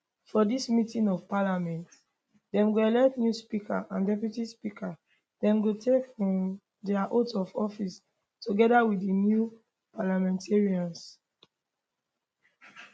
for dis meeting of parliament dem go elect new speaker and deputy speaker dem go take um dia oath of office togeda wit di new parliamentarians